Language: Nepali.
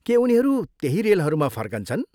के उनीहरू त्यही रेलहरूमा फर्कन्छन्?